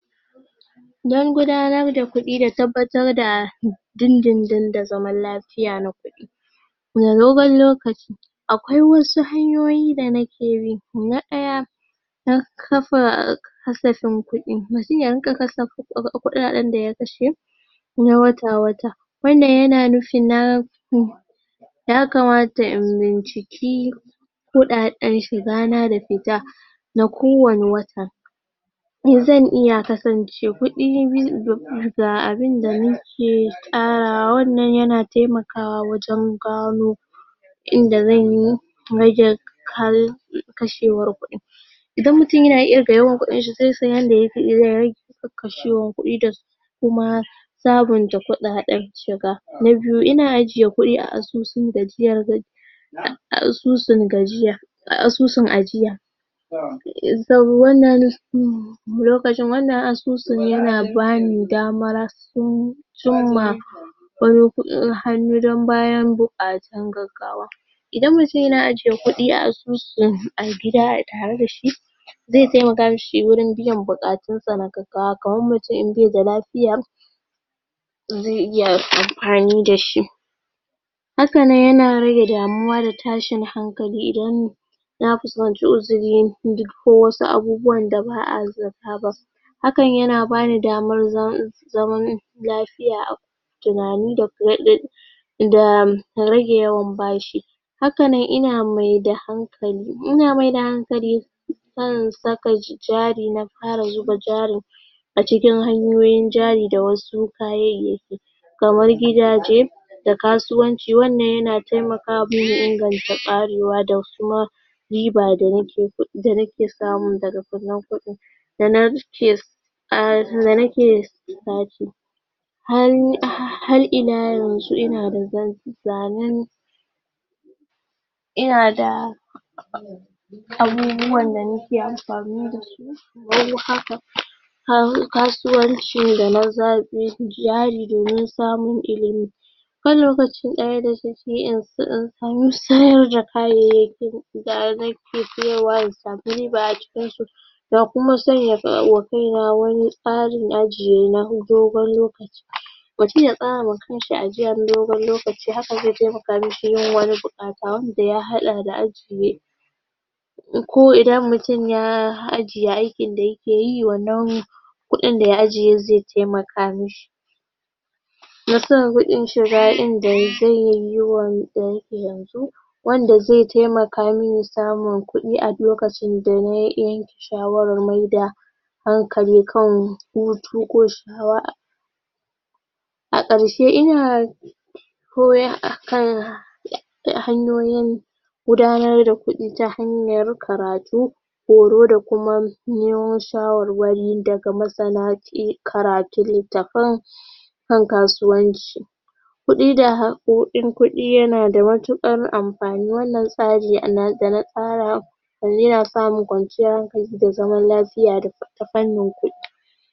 Don gudanar da kuɗi da tabbatar da din-din-din da zaman lafiya na kuɗi dogan lokaci. Akwai wasu hanyoyi da nake bi. Na ɗaya; Na kafa kasafin kuɗi. Mutum idan ka kasa kuɗaɗen da ya kashe, na wata-wata. Wannan ya na nufin na ya kamata in binciki kuɗaɗen shiga na da fita na kowane wata. Mi zan iya kasance, kuɗi ga abin da nike ƙarawawan nan ya taiamakwa wajen gano idan zan yi, rage kal kashewar kuɗin, Idan mutum yana iya ga yawan kuɗin shi zai san yanda zai rage kashwan kuɗi da kuma sabunta kuɗaɗen shiga. Na biyu, ina ajiye kuɗi a asusun gajiyar ga ah asusun gajiya asusun ajiya. lokacin wannan asusun ya na ba ni damar cim cimma ɓaro kuɗin hannu don bayan buƙatu gaggawa. Idan mutum yana ajiye kudi a asusu a gida a tare da shi zai taimaka mishi wurin biyan buƙatu sa na gaggawa, kamar mutum in bai da lafiya, zai iya amfani da shi. Haka nan yana rage damuwa da tashin hankali idan na kusanci uzuri duk ko wasu abubuwan da ba a za ta ba. Hakan yana bani damar zaman lafiya a tunani da da rage yawan bashi, haka nan ina maida hankali, ina maida hankali kan saka jari, na fara zuba jarin a cikin hanyoyin jari da wasu kayayyaki kamar gidaje da kasuwanci wannan ya na taimakawa inganta ƙarewa da suma riba da nake da nake samu daga wannan kuɗin da nake da nake sati har illa yanzu ina da zazanen ina da abubuwan da nike amfani da su har kasuwancin da na za jari domin samun ilimi kan lokaci daya da samu sayar da kayayyaki direct in samu riba a cikin su da kuma sanya wa kaina wani tsari ajiye na dogon lokaci mutum ya tsara ma kan shi ajiya na dogon lokaci hakan zai taimaka mishi yin wani buƙata wanda ya hada da ajiye ko idan mutum ya ajiye aikin da ya ke yi wannan kuɗin da ya ajiye zai taimaka mishi. Na san kuɗin shiga inda zai yanzu wanda zai taimaka min samun kuɗi a lokacin da na yi in shawarar maida hankali kan hutu ko a ƙarshe ina koya akan ya hanyoyin gudanar da kuɗin ta hanyar karatu, horo da kuma neman shawarwari daga masana sai karatun littafan kan kasuwanci. Kuɗi da ko in kuɗi yana da matuƙar amfani wannan tsari da na tsara yanzu ina samun kwanciyar da zaman lafiya da ta fannin kuɗi.